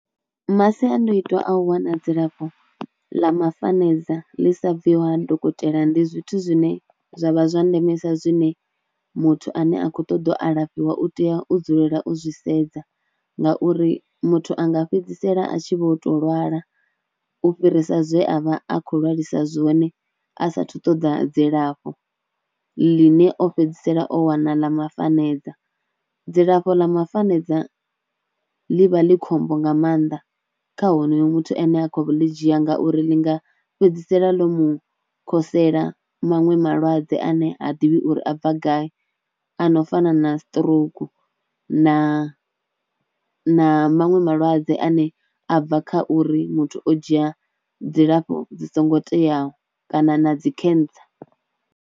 Masiandoitwa a u wana dzilafho ḽa mafanedza ḽi sa bviho ha dokotela ndi zwithu zwine zwa vha zwa ndeme sa zwine muthu ane a kho ṱoḓa alafhiwa u tea u dzulela u zwi sedza ngauri muthu a nga fhedzisela a tshi vho tou lwala u fhirisa zwe a vha a khou lwalisa zwone a saathu ṱoda dzilafho, ḽine o fhedzisela o wana ḽa mafanedza. Dzilafho ḽa mafanedza ḽi vha ḽi khombo nga maanḓa kha honoyo muthu ane a khou ḽi dzhia ngauri ḽi nga fhedzisela ḽo mu khosela maṅwe malwadze ane ha ḓivhi uri a bva gai a no fana na stroke na maṅwe malwadze ane a bva kha uri muthu o dzhia dzilafho dzi songo teaho kana na dzi cancer.